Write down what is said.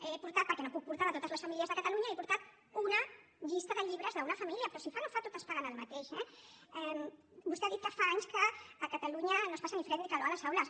he portat perquè no ho puc portar de totes les famílies de catalunya una llista de llibres d’una família però si fa no fa totes paguen el mateix eh vostè ha dit que fa anys que a catalunya no es passa ni fred ni calor a les aules